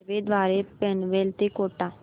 railway द्वारे पनवेल ते कोटा